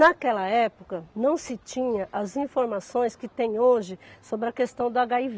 Naquela época, não se tinha as informações que tem hoje sobre a questão do agáivê.